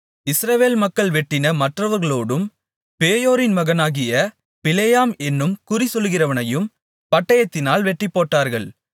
இஸ்ரவேல் மக்கள் வெட்டின மற்றவர்களோடும் பேயோரின் மகனாகிய பிலேயாம் என்னும் குறிசொல்லுகிறவனையும் பட்டயத்தினால் வெட்டிப்போட்டார்கள்